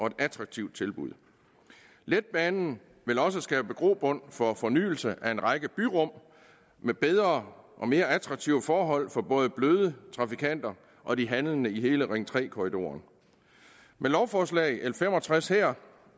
et attraktivt tilbud letbanen vil også skabe grobund for fornyelse af en række byrum med bedre og mere attraktive forhold for både de bløde trafikanter og de handlende i hele ring tre korridoren med lovforslaget fem og tres